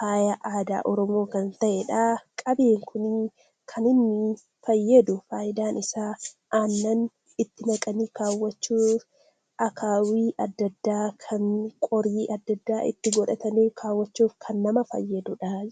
faaya aadaa oromoo kan ta'edha. Qabeen kun kan inni fayyadu aannan itti naqanii kaawwachuuf akaayii adda addaa qorii adda addaa itti godhatanii kaawwachuuf kan nama fayyaduudha.